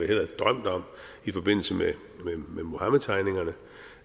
havde drømt om i forbindelse med muhammedtegningerne